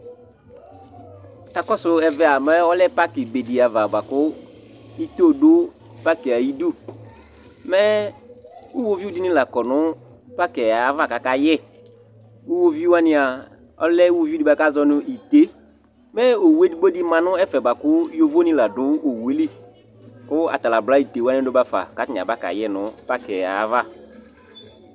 Akɔsʋ ɛvɛ a, mɛ ɔlɛ pakɩ be ava bʋa kʋ ito dʋ pakɩ yɛ ayidu Mɛ iɣoviu dɩnɩ la kɔ nʋ pakɩ yɛ ava kʋ akayɛ Iɣoviu wanɩ a, ɔlɛ iɣoviu dɩ bʋa kʋ afɔnazɔ nʋ ite Mɛ owu edigbo dɩ ma nʋ ɛfɛ bʋa kʋ yovonɩ la dʋ owu yɛ li kʋ ata la abla ite wanɩ dʋ ba fa kʋ atanɩ abakayɛ nʋ pakɩ yɛ ayava